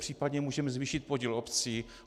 Případně můžeme zvýšit podíl obcí.